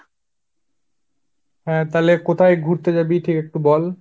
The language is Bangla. হা, তা'লে কোথায় ঘুরতে যাবি ঠিক একটু বল।